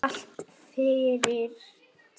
Allt fyrnt.